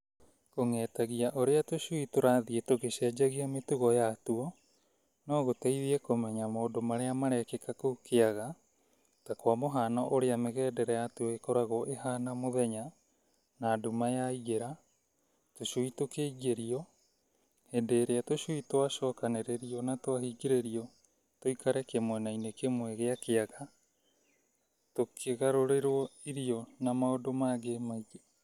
Kũng'etagia ũrĩa tũcui tũrathiĩ tũgĩcenjagia mĩtugo yatuo no gũteithie kũmenya maũndũ marĩa marekĩka kũu kĩaga ta kwa mũhano ũrĩa mĩgendere yatuo ĩkoragwo ĩhana mũthenya na nduma ya ingĩra, tũcui tũkĩingĩrio, hĩndĩ ĩrĩa tũcui twacokanĩririo na twahingĩrĩrio tũikare kimwena-inĩ kĩmwe gĩa kĩaga , tũkĩgarũrĩrwo irio na maũndũ mangĩ maingĩ.